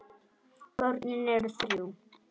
Börnin eru þrjú.